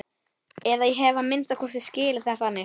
Eða ég hef að minnsta kosti skilið það þannig.